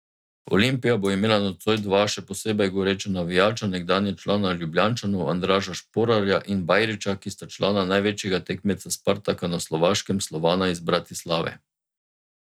Olimpija bo imela nocoj dva še posebej goreča navijača, nekdanja člana Ljubljančanov Andraža Šporarja in Bajrića, ki sta člana največjega tekmeca Spartaka na Slovaškem Slovana iz Bratislave.